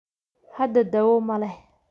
Hadda, dawo ma leh.